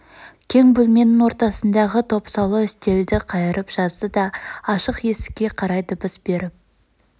кең бөлменің ортасындағы топсалы үстелді қайырып жазды да ашық есікке қарай дыбыс беріп